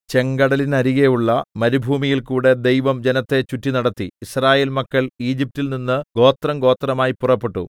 ചെങ്കടലിനരികെയുള്ള മരുഭൂമിയിൽകൂടെ ദൈവം ജനത്തെ ചുറ്റിനടത്തി യിസ്രായേൽ മക്കൾ ഈജിപ്റ്റിൽ നിന്ന് ഗോത്രംഗോത്രമായി പുറപ്പെട്ടു